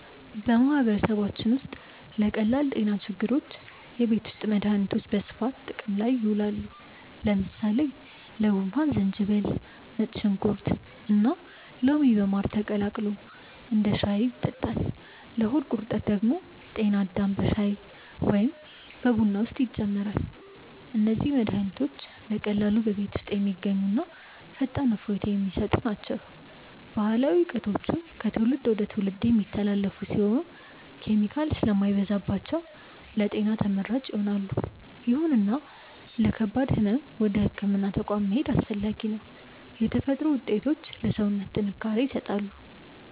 በማህበረሰባችን ውስጥ ለቀላል ጤና ችግሮች የቤት ውስጥ መድሃኒቶች በስፋት ጥቅም ላይ ይውላሉ። ለምሳሌ ለጉንፋን ዝንጅብል፣ ነጭ ሽንኩርትና ሎሚ በማር ተቀላቅሎ እንደ ሻይ ይጠጣል። ለሆድ ቁርጠት ደግሞ ጤና አዳም በሻይ ወይም በቡና ውስጥ ይጨመራል። እነዚህ መድሃኒቶች በቀላሉ በቤት ውስጥ የሚገኙና ፈጣን እፎይታ የሚሰጡ ናቸው። ባህላዊ እውቀቶቹ ከትውልድ ወደ ትውልድ የሚተላለፉ ሲሆኑ፣ ኬሚካል ስለማይበዛባቸው ለጤና ተመራጭ ይሆናሉ። ይሁንና ለከባድ ህመም ወደ ህክምና ተቋም መሄድ አስፈላጊ ነው። የተፈጥሮ ውጤቶች ለሰውነት ጥንካሬ ይሰጣሉ።